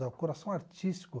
É o coração artístico.